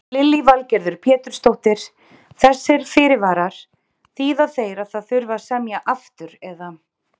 Lillý Valgerður Pétursdóttir: Þessir fyrirvarar, þýða þeir að það þurfi að semja aftur eða?